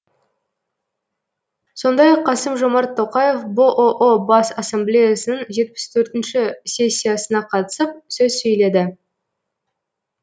сондай ақ қасым жомарт тоқаев бұұ бас ассамблеясының жетпіс төртінші сессиясына қатысып сөз сөйледі